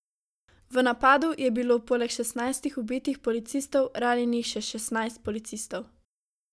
V napadu je bilo poleg šestnajstih ubitih policistov ranjenih še šestnajst policistov.